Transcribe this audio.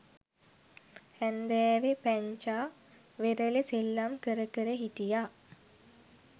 හැන්දෑවෙ පැංචා වෙරළෙ සෙල්ලම් කර කර හිටියා